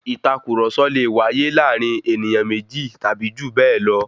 Ìtàkurọ̀sọ lè wáyé láàárín ènìyàn méjì tàbí jù bẹ́ẹ̀ lọ.